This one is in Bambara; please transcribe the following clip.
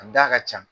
A da ka ca